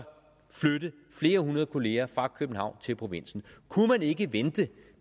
flytte flere hundrede kollegaer fra københavn til provinsen kunne man ikke vente